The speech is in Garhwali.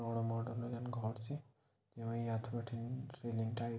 और मॉडर्न यनु घोर च यू ये यथ बटीन रिलिंग टाईप --